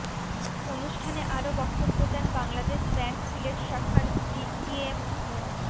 অনুষ্ঠানে আরো বক্তব্য দেন বাংলাদেশ ব্যাংক সিলেট শাখার ডিজিএম মো